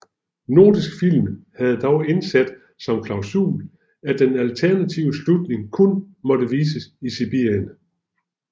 Nordisk Film havde dog indsat som klausul at den alternative slutning kun måtte vises i Sibirien